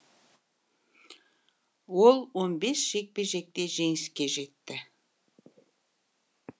ол он бес жекпе жекте жеңіске жетті